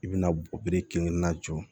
I bɛna kelen na jɔ